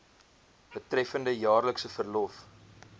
betreffende jaarlikse verlof